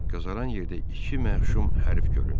Qəzaran yerdə iki məhşum hərf göründü.